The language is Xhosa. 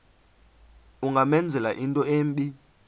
ungamenzela into embi